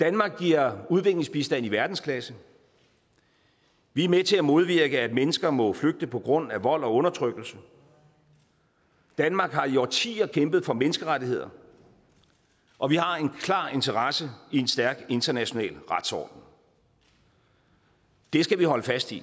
danmark giver udviklingsbistand i verdensklasse vi er med til at modvirke at mennesker må flygte på grund af vold og undertrykkelse danmark har i årtier kæmpet for menneskerettigheder og vi har en klar interesse i en stærk international retsorden det skal vi holde fast i